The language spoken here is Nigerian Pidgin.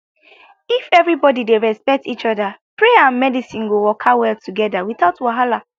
if everybody dey respect each other prayer and medicine go waka well together without wahala